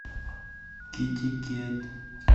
китикет